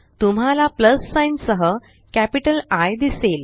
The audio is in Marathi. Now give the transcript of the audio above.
तुम्हाला प्लस साइन सह कॅपिटल आय दिसेल